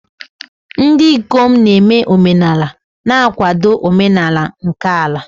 Ndị ikom na-eme omenala na-akwado omenala nke ala.